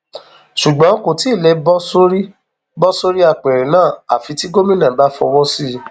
ṣùgbọn kò tí ì lè bọ sórí bọ sórí apẹrẹ náà àfi tí gómìnà bá fọwọ sí i